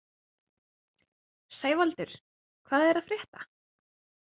Sævaldur, hvað er að frétta?